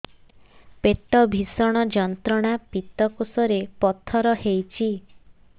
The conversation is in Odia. ପେଟ ଭୀଷଣ ଯନ୍ତ୍ରଣା ପିତକୋଷ ରେ ପଥର ହେଇଚି